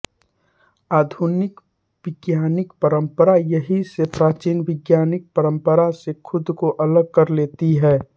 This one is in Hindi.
आधुनिक वैज्ञानिक परंपरा यहीं से प्राचीन वैज्ञानिक परंपरा से खुद को अलग कर लेती है